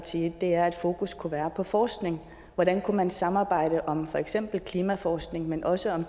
side er at fokus kunne være på forskning hvordan kunne man samarbejde om for eksempel klimaforskning men også om